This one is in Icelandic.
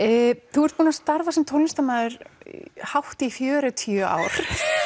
þú ert búinn að starfa sem tónlistarmaður hátt í fjörutíu ár